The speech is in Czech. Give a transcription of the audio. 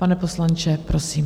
Pane poslanče, prosím.